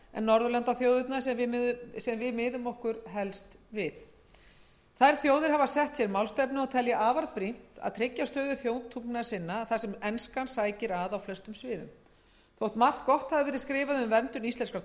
norðurlandaþjóðirnar sem við miðum okkur helst við þær þjóðir hafa sett sér málstefnu og telja afar brýnt að tryggja stöðu þjóðtungna sinna þar sem enskan sækir að á flestum sviðum þótt margt gott hafi verið skrifað um verndun íslenskrar